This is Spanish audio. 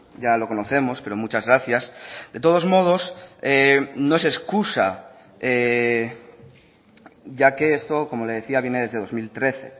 ya lo conocemos pero muchas gracias de todos modos no es excusa ya que esto como le decía viene desde dos mil trece